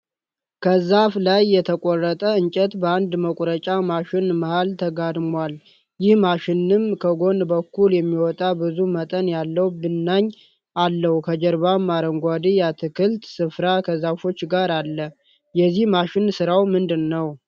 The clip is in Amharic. ከዛፍ ላይ የተቆረጠ እንጨት በአንድ መቁረጫ ማሽን መሃል ተጋድሟል። ይህ ማሽንም ከጎን በኩል የሚወጣ ብዙ መጠን ያለው ብናኝ አለው ከጀርባም አረንጓዴ የአትክልት ስፍራ ከዛፎች ጋር አለ። የዚህ ማሽን ስራው ምንድን ነው።